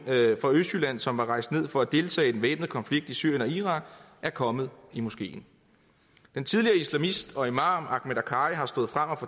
fra østjylland som er rejst ned for at deltage i den væbnede konflikt i syrien og irak er kommet i moskeen den tidligere islamist og imam akhmed akkari er stået frem og